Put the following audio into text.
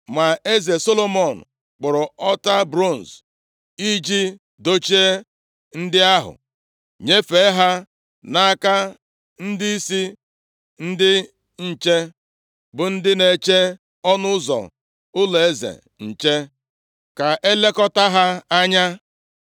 Ma eze Rehoboam kpụrụ ọta bronz i ji dochie ndị ahụ, nyefee ha nʼaka ndịisi ndị nche, bụ ndị na-eche nʼọnụ ụzọ ụlọeze nche ka a lekọta ha anya.